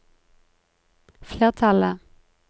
flertallet